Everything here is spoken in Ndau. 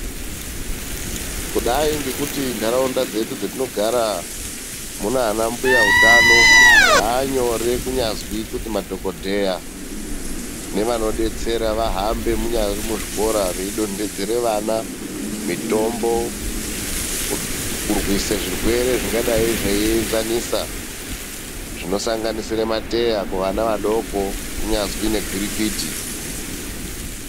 Kudai ngekuti ndaraunda dzedu dzatinogara munana mbuya utano, zvaanyore kunyazi madhokoteya nevanodetsera vahambe munyari muzvikora veidondedzera vana mitombo, kurwise zvirwere zvingadai zveienzanisa, zvinosanganisira mateya kuvana vadoko, kunyazi negwirikwiti.